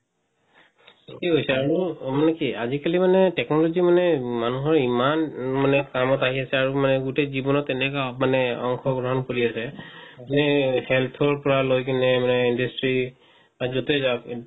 আৰু মানে কি আজি-কালি মানে technology মানে মানুহৰ ইমান মানে কামত আহি আছে আৰু মানে গোটে জীৱনত এনোকা অংশগ্ৰহন কৰি আছে মানে health পৰা লই কিনে মানে industry যতই যাওক